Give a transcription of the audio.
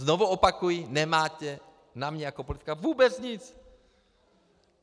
Znovu opakuji, nemáte na mě jako politika vůbec nic!